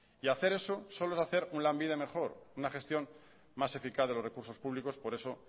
y hacer eso solo es hacer un lanbide mejor una gestión más eficaz de los recursos públicos por eso